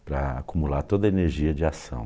para acumular toda a energia de ação.